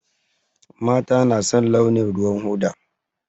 Mata na son launin ruwan hoda